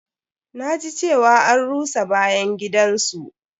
Na ji cewa an rusa bayan gidan su.